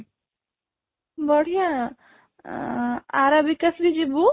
ବଢିଆ ଆଁ Arabic ଆସିଲେ ଯିବୁ